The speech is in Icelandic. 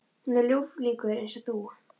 Hún er ljúflingur eins og þú.